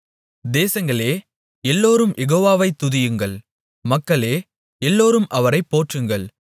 தேசங்களே எல்லோரும் யெகோவாவை துதியுங்கள் மக்களே எல்லோரும் அவரைப் போற்றுங்கள்